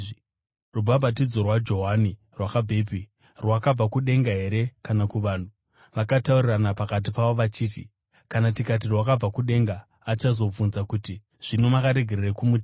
Rubhabhatidzo rwaJohani rwakabvepi? Rwakabva kudenga here kana kuvanhu?” Vakataurirana pakati pavo vachiti, “Kana tikati, ‘Rwakabva kudenga’ achazobvunza kuti, ‘Zvino makaregerei kumutenda?’